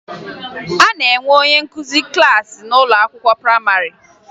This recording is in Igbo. A na-enwe onye nkụzi klassị n'ụlọ akwụkwọ prayịmarị